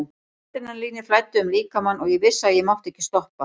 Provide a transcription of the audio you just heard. Adrenalínið flæddi um líkamann og ég vissi að ég mátti ekki stoppa.